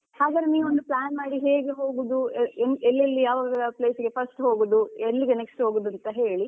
ಹಾಗಾದ್ರೆ ನೀವ್ ಒಂದು plan ಮಾಡಿ ಹೇಗೆ ಹೋಗುದು ಎಲ್ಲೆಲ್ಲಿ ಯಾವ place ಗೆ first ಹೋಗುದು ಎಲ್ಲಿಗೆ next ಹೋಗೋದು ಅಂತ ಹೇಳಿ.